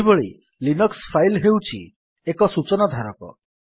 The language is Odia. ସେହିଭଳି ଲିନକ୍ସ୍ ଫାଇଲ୍ ହେଉଛି ଏକ ସୂଚନା ଧାରକ